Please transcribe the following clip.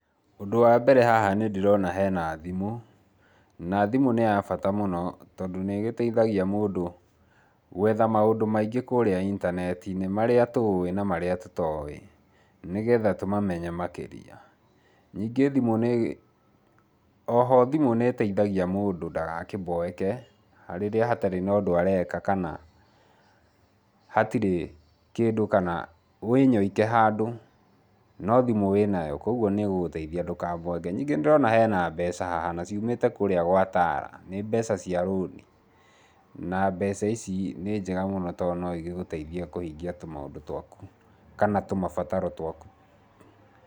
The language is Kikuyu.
Ũndũ wa mbere haha nĩ ndĩrona hena thimũ, na thimũ neyabata mũno tondũ nĩgĩteithagia mũndũ, gwetha maũndũ maingĩ kũrĩa intaneti-inĩ marĩa tũĩ na marĩa tũtoĩ, nĩgetha tũmamenye makĩria, ningĩ thimũ nĩ, oho thimũ nĩteithagia mũndũ ndagakĩmboeke, rĩrĩa hatarĩ na ũndũ areka kana hatirĩ kĩndũ kana, wĩnyoike handũ no thimũ wĩ nayo kwoguo nĩ gũteithia ndũkamboeke, ningĩ nĩ ndĩrona hena mbeca haha na ciumĩte kũrĩa gwa TALA nĩ mbeca cia loan na mbeca ici nĩ njega mũno tondũ no igũteithie kũhingia tũ maũndũ twaku kana tũmabataro twaku.